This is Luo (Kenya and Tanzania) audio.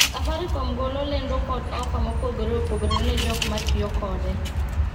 safarikom golo lendo kod ofa mopogore opogore ne jok mstiyo kode